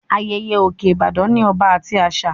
Ayẹyẹ òkè Ìbàdàn ní ọba àti àṣà